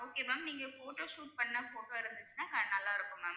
okay ma'am நீங்க photo shoot பண்ண photo இருந்துச்சுன்னா க~ நல்லா இருக்கும் ma'am